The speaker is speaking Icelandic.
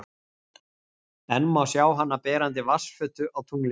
Enn má sjá hana berandi vatnsfötu á tunglinu.